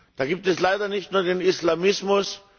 Da gibt es leider nicht nur den Islamismus.